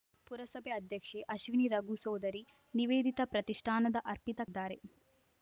ಪುರಸಭೆ ಅಧ್ಯಕ್ಷೆ ಅಶ್ವಿನಿ ರಘು ಸೋದರಿ ನಿವೇದಿತಾ ಪ್ರತಿಷ್ಠಾನದ ಅರ್ಪಿತ ಕ್‌ ದ್ದಾರೆ